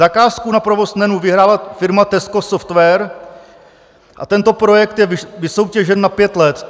Zakázku na provoz NEN vyhrála firma Tesco Software a tento projekt je vysoutěžen na pět let.